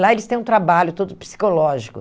Lá eles têm um trabalho todo psicológico.